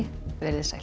verið þið sæl